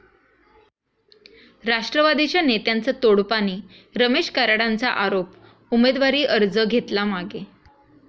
राष्ट्रवादीच्या नेत्यांचं 'तोडपाणी', रमेश कराडांचा आरोप, उमेदवारी अर्ज घेतला मागे